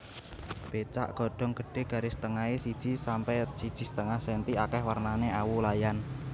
Becak godhong gedhé garis tengahé siji sampe siji setengah senti akèh wernané awu layan